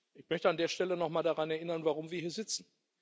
Ich möchte an der Stelle noch mal daran erinnern, warum wir hier sitzen.